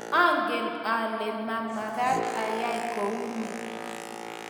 angen ale mamekat ayai kou noe